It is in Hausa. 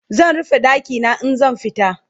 zan rufe ɗakina in zan fita